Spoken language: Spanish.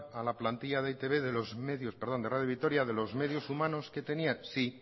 a la plantilla de e i te be perdón de radio vitoria de los medios humanos que tenían sí